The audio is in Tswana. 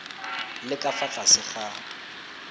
le ka fa tlase ga